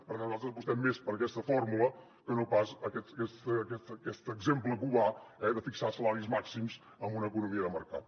per tant nosaltres apostem més per aquesta fórmula que no pas per aquest exemple cubà eh de fixar salaris màxims en una economia de mercat